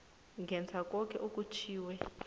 ngenza koke okutjhwiwe